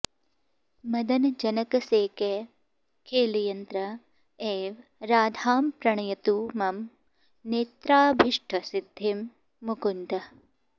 मदनजनकसेकैः खेलयन्न् एव राधां प्रणयतु मम नेत्राभीष्टसिद्धिं मुकुन्दः